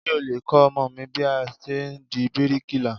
Ṣé o lè kọ́ ọmọ mi bí a ṣe di bíríkìlà?